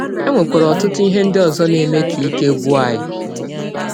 E nwekwara ọtụtụ ihe ndị ọzọ na - eme ka ike gwụ anyị.